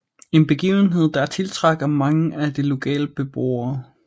En begivenhed der tiltrækker mange af de lokale beboere